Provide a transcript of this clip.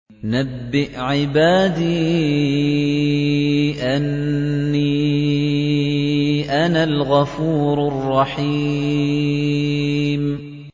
۞ نَبِّئْ عِبَادِي أَنِّي أَنَا الْغَفُورُ الرَّحِيمُ